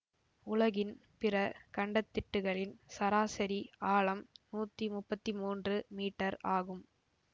உலகின் பிற கண்டத்திட்டுகளின் சராசரி ஆழம் நூத்தி முப்பத்தி மூன்று மீட்டர் ஆகும்